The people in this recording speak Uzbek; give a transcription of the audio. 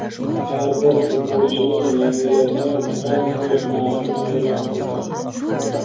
har bir futbolchining yangilangan transfer narxini e’lon qildi.